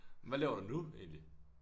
Hvad laver du nu egentlig